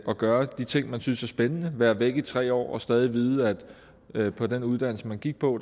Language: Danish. og gøre de ting man synes er spændende være væk i tre år og stadig vide at på den uddannelse man gik på